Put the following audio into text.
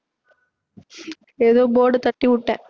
ஏதோ board தட்டிவுட்டேன்